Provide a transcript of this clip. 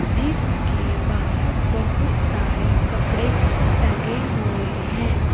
जीसके बाहर बहुत सारे कपड़े टंगे हुए हैं।